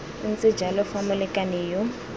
ntse jalo fa molekane yo